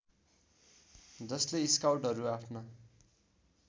जसले स्काउटहरू आफ्ना